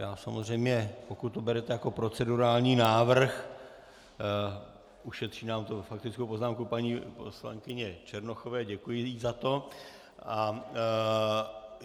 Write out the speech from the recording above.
Já samozřejmě, pokud to berete jako procedurální návrh, ušetří nám to faktickou poznámku paní poslankyně Černochové, děkuji jí za to.